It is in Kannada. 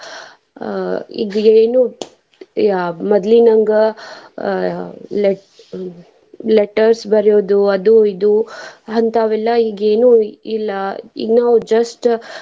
ಅಹ್ ಇದ್ ಏನು ಅಹ್ ಮದ್ಲಿನಂಗ ಅಹ್ letters letters ಬರ್ಯೋದು ಅದು ಇದು ಅಂತಾವೆಲ್ಲಾ ಈಗೇನು ಇಲ್ಲಾ ಈಗ್ ನಾವ್ just .